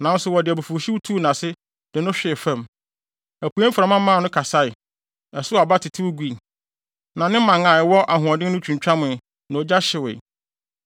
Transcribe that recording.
Nanso wɔde abufuwhyew tuu nʼase de no hwee fam. Apuei mframa maa no kasae, ɛsow aba tetew gui; na ne mman a ɛwɔ ahoɔden no twintwamee na ogya hyewee.